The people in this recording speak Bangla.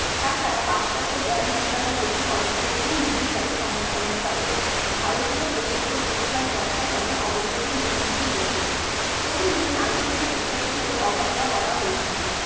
তাছাড়া পাশ্চাত্য জ্ঞান বিজ্ঞানের প্রতি অনেক ক্ষেত্রেই নির্বিচারে সমর্থনের ফলে ভারতীয় প্রচলিত শিক্ষার চর্চা ক্রমে অবলুপ্তির মুখোমুখি হয়েছিল। প্রথম দিকে নারী শিক্ষার বিষয়টিকেও অবহেলা করা হয়েছিল